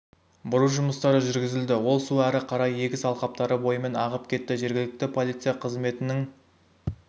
бұру жұмыстары жүргізілді ол су әрі қарай егіс алқаптары бойымен ағып кетті жергілікті полиция қызметінің